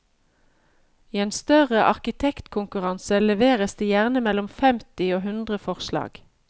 I en større arkitektkonkurranse leveres det gjerne mellom femti og hundre forslag.